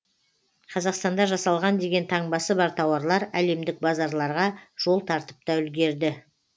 қазақстанда жасалған деген таңбасы бар тауарлар әлемдік базарларға жол тартып та үлгерді